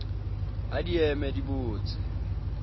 ha di eme di botse